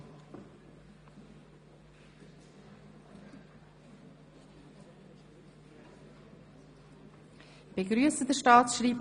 Mit diesem Schritt können die Bürgernähe der Verwaltung und die Rechtssicherheit massgeblich verbessert werden.